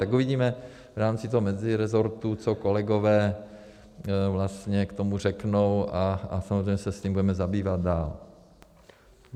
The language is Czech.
Tak uvidíme v rámci toho mezirezortu, co kolegové vlastně k tomu řeknou, a samozřejmě se s tím budeme zabývat dál.